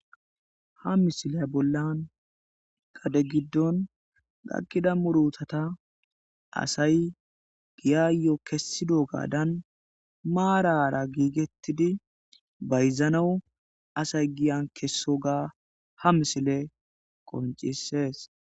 ha misiley bollan gade giddon gaqqida murutata asay giyayo kessido gaadan maarara giigettidi bayzanawu asay giyan kessoga ha misile qoncissees